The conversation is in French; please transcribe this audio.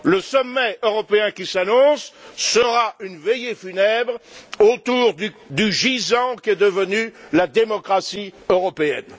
Le sommet européen qui s'annonce sera une veillée funèbre autour du gisant qu'est devenue la démocratie européenne.